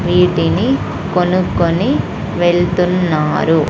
వీటిని కొనుక్కొని వెళ్తున్నారు.